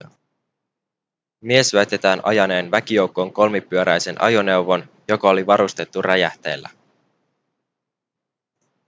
mies väitetään ajaneen väkijoukkoon kolmipyöräisen ajoneuvon joka oli varustettu räjähteillä